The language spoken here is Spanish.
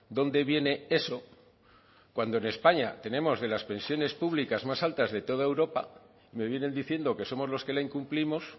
dónde viene eso cuando en españa tenemos de las pensiones públicas más altas de toda europa me vienen diciendo que somos los que la incumplimos